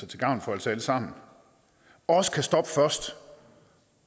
til gavn for os alle sammen også kan stoppe først